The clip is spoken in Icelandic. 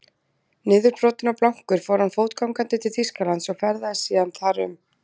Niðurbrotinn og blankur fór hann fótgangandi til Þýskalands og ferðaðist síðan þar um.